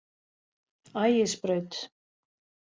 Ægisbraut